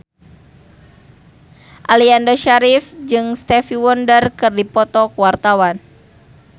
Aliando Syarif jeung Stevie Wonder keur dipoto ku wartawan